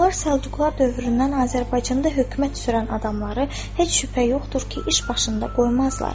Onlar Səlcuqlar dövründən Azərbaycanda hökumət sürən adamları heç şübhə yoxdur ki, iş başında qoymazlar.